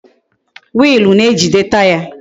Wiilu na-ejide Taya